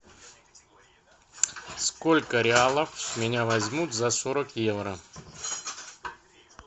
сколько реалов с меня возьмут за сорок евро